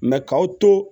k'aw to